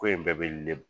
Ko in bɛɛ bɛ